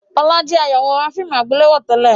Ọlá jẹ̀ ayawòrán fíìmù àgbéléwò tẹ́lẹ̀